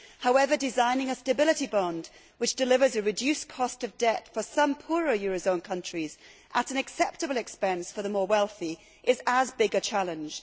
However, designing a stability bond which delivers a reduced cost of debt for some poorer euro zone countries at an acceptable expense for the more wealthy is as big a challenge.